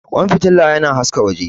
Ƙwan fitila yana haska waje.